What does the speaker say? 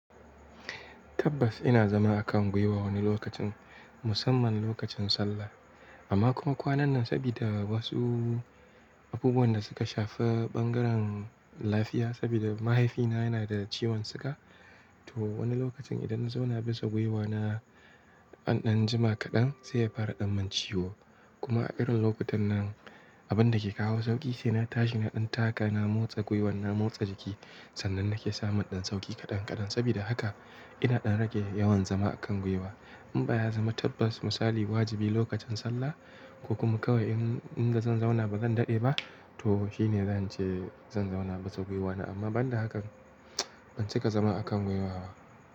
Tabbas ina zama a kan gwiwa wani lokacin, musamman lokacin sallah. Amma kuma kwanan nan saboda wasu abubuwan da suka shafi bangaren lafiya, saboda mahaifina yana da ciwon siga, to wani lokacin idan na zauna bisa gwiwana anan jima kaɗan zai fara ɗan man ciwo. Kuma a irin lokutan nan, abin da ke kawo sauƙi shine na tashi na ɗan taka, na motsa gwiwan, na motsa jiki. Sannan na ke samun ɗan sauƙi kaɗan kaɗan. Saboda haka ina ɗan rage yawan zama a kan gwiwa. In ba ya zama tabbas misali wajibi lokacin sallah ko kuma kawai in inda zan zauna ba zan daɗe ba, to shi ne zan je zan zauna bisa gwiwana. Amma ban da haka, ban cika zama a kan gwiwa ba.